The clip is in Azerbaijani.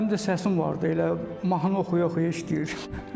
Həm də səsim vardı, elə mahnı oxuya-oxuya işləyirdim.